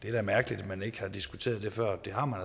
er mærkeligt at man ikke har diskuteret det før det har man